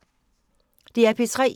DR P3